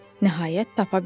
Nəhayət, tapa bildi.